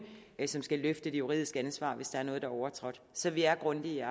som skal løfte det juridiske ansvar hvis der er noget der er overtrådt så vi er grundige